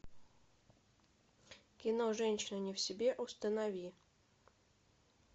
кино женщина не в себе установи